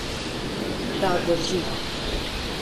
Da, drži.